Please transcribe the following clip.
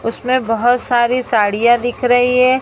उसमें बहुत सारी साड़ियां दिख रही है।